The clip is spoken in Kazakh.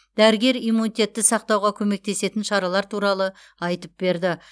дәрігер иммунитетті сақтауға көмектесетін шаралар туралы айтып берді